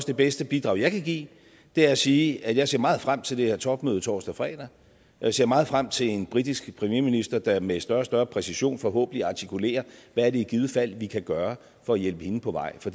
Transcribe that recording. det bedste bidrag jeg kan give er at sige at jeg ser meget frem til det her topmøde torsdag og fredag og jeg ser meget frem til en britisk premierminister der med større og større præcision forhåbentlig artikulerer hvad det i givet fald er vi kan gøre for at hjælpe hende på vej for